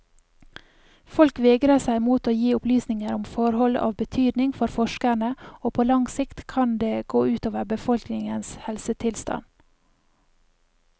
Folk vegrer seg mot å gi opplysninger om forhold av betydning for forskerne, og på lang sikt kan det gå utover befolkningens helsetilstand.